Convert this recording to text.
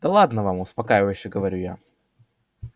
да ладно вам успокаивающе говорю я